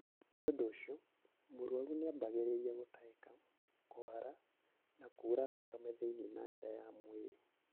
Nĩ ũndũ ũcio, mũrũaru nĩ ambagĩrĩria gũtahika, kũhara, na kuura thakame thĩiniĩ na nja ya mwĩrĩ.